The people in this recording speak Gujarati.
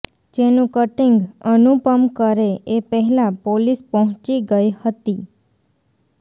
જેનું કટીંગ અનુપમ કરે એ પહેલા પોલીસ પહોંચી ગઇ હતી